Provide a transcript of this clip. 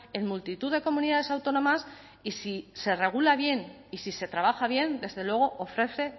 en multitud de comunidades autónomas y si se regula bien y si se trabaja bien desde luego ofrece